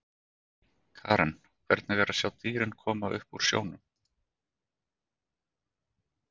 Karen: Hvernig er að sjá dýrin koma upp úr snjónum?